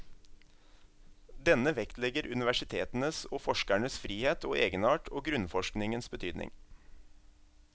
Denne vektlegger universitetenes og forskernes frihet og egenart og grunnforskningens betydning.